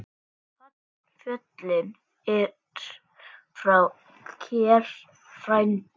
Fallinn er frá kær frændi.